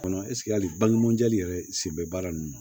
Kɔnɔ ɛsike hali balimamu jɛli yɛrɛ sen bɛ baara ninnu na